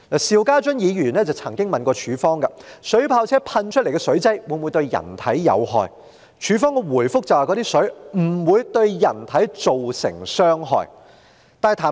邵家臻議員曾經詢問水炮車噴射出來的水劑會否對人體有害，警方的回覆是水劑不會對人體造成傷害。